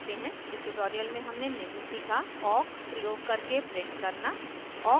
इस ट्यूटोरियल में हमने निम्न सीखा awk प्रयोग करके प्रिंट करना